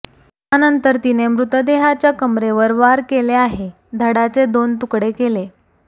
त्यानंतर तिने मृतदेहाच्या कमरेवर वार केले आहे धडाचे दोन तुकडे केले